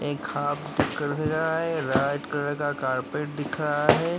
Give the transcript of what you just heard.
एक हाफ दिकड़ सजा है। राईट कलर का कार्पेट दिख रहा है।